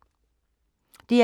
DR K